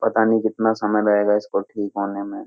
पता नहीं कितना समय लगेगा इसको ठीक होने में --